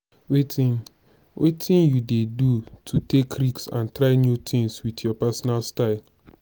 wetin wetin you dey do to take risk and try new tings with your pesinal style?